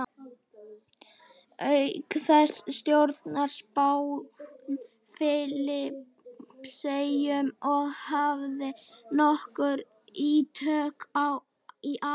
Auk þessa stjórnaði Spánn Filippseyjum og hafði nokkur ítök í Afríku.